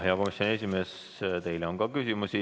Hea komisjoni esimees, teile on ka küsimusi.